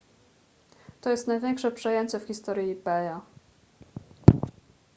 to jest największe przejęcie w historii ebaya